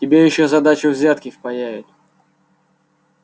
тебе ещё за дачу взятки впаяют